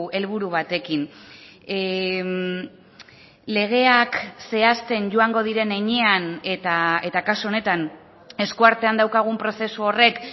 helburu batekin legeak zehazten joango diren heinean eta kasu honetan esku artean daukagun prozesu horrek